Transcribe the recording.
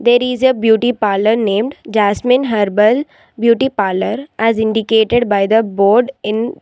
There is a beauty parlour named Jasmine Herbal Beauty Parlour as indicated by the board in --